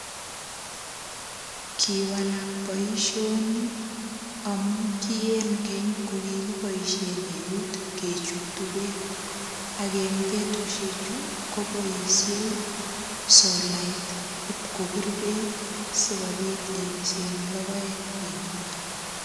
Kiwalak boishoni amu ki eng keny ko kikiboishen eut kechutu beek ak eng betushe chu koboishei solait ip kopir beek sikobit ibise en lokoek en imbar.